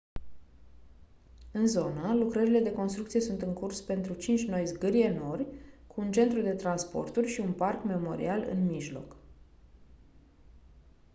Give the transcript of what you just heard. în zonă lucrările de construcție sunt în curs pentru cinci noi zgârie-nori cu un centru de transporturi și un parc memorial în mijloc